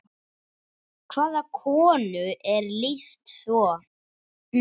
Hvaða konu er lýst svo?